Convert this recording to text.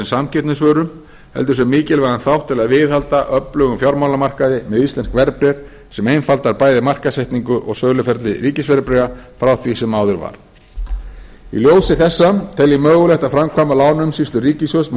samkeppnisvöru heldur sem mikilvægan þátt til að viðhalda öflugum fjármálamarkaði með íslensk verðbréf sem einfaldar bæði markaðssetningu og söluferli ríkisverðbréfa frá því sem áður var í ljósi þessa tel ég mögulegt að framkvæma lánaumsýslu ríkissjóðs með